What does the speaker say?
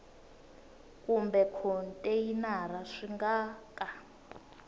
kumbe khonteyinara swi nga ka